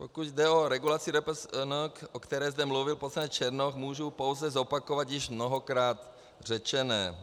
Pokud jde o regulaci RPSN, o které zde mluvil poslanec Černoch, mohu pouze zopakovat již mnohokrát řečené.